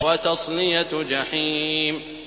وَتَصْلِيَةُ جَحِيمٍ